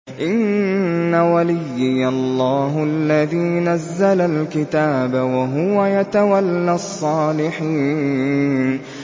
إِنَّ وَلِيِّيَ اللَّهُ الَّذِي نَزَّلَ الْكِتَابَ ۖ وَهُوَ يَتَوَلَّى الصَّالِحِينَ